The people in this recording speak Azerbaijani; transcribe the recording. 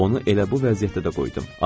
Onu elə bu vəziyyətdə də qoydum.